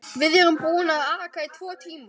Við erum búin að aka í tvo tíma.